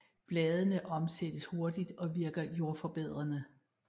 Bladene omsættes hurtigt og virker jordforbedrende